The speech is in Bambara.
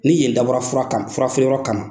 Ni yen dabɔra kama furafeereyɔrɔ kama.